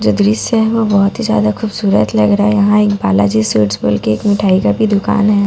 जो दृश्य है वो बहुत ही ज्यादा खूबसूरत लग रहा है यहां एक बालाजी स्वीट्स बोल के एक मिठाई का भी दुकान है।